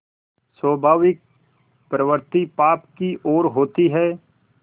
स्वाभाविक प्रवृत्ति पाप की ओर होती है